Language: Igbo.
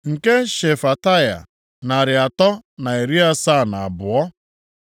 nke Shefataya, narị atọ na iri asaa na abụọ (372),